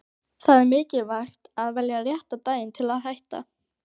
Það er mikilvægt að velja rétta daginn til að hætta.